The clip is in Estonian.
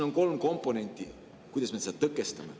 On kolm komponenti, kuidas me seda tõkestame.